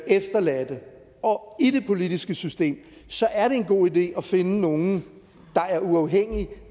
efterladte og i det politiske system så er det en god idé at finde nogle der er uafhængige